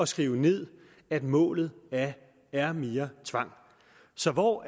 skrive ned at målet er mere tvang så hvor